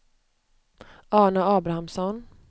Arne Abrahamsson